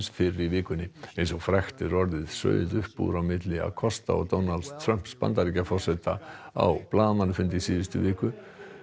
fyrr í vikunni eins og frægt er orðið sauð upp úr á milli Acosta og Donalds Trumps Bandaríkjaforseta á blaðamannafundi í síðustu viku